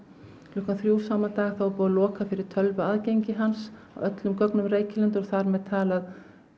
klukkan þrjú sama dag er búið að loka fyrir tölvuaðgengi hans og öllum gögnum Reykjalundar og þar með talið